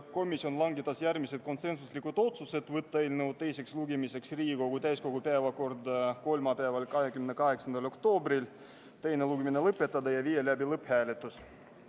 Komisjon langetas järgmised konsensuslikud otsused: võtta eelnõu teiseks lugemiseks Riigikogu täiskogu päevakorda kolmapäeval, 28. oktoobril, teine lugemine lõpetada ja viia läbi lõpphääletus.